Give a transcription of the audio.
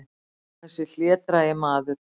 Þessi hlédrægi maður!